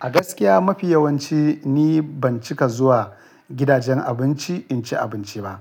A gaskiya, mafi yawanci ni ban cika zuwa gidajen abinci in ci abinci ba.